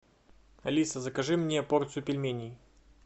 алиса закажи мне порцию пельменей